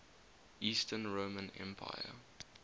eastern roman empire